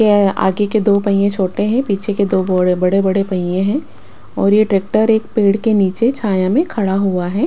ये आगे के दो पहिए छोटे हैं पीछे के दो बोड़े बड़े बड़े पहिए हैं और ये ट्रैक्टर एक पेड़ के नीचे छाया में खड़ा हुआ है।